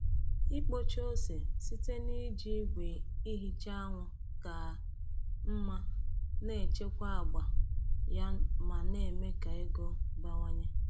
Ikpocha ose site n’iji igwe ihicha anwụ ka mma na-echekwa agba ya ma na-eme ka ego bawanye.